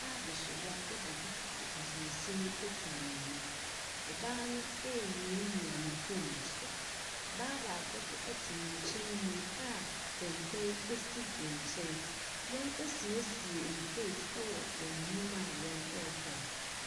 Ɔbaa besiwa ɛbɔ duku de ntoma sin etwa ne mu. Ɔbaa no mmiamia ne fone ne so. Ɔbaa baako nso ɛte ne nkyɛn mu a kɛntɛn esi ne nkyɛn. Wɔn asiesie ntose ɛwɔ wɔn anim a wɔn ɛtɔn.